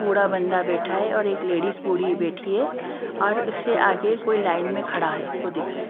बूढ़ा बंदा बैठा है और एक लेडीज बूढ़ी बैठी है और उससे आगे कोई लाइन में खड़ा है वो दिख रहा है।